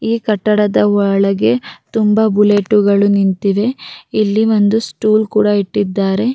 ಈ ಕಟ್ಟಡದ ಒಳಗೆ ತುಂಬ ಬುಲೆಟುಗಳು ನಿಂತಿವೆ ಇಲ್ಲಿ ಒಂದು ಸ್ಟೂಲ್ ಕೂಡ ಇಟ್ಟಿದಾರೆ.